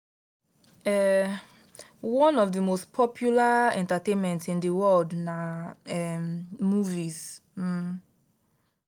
um one of the most popular entertainment in the world na um movies. um